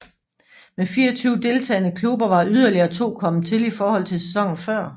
Med 24 deltagende klubber var yderligere to kommet til i forhold til sæsonen før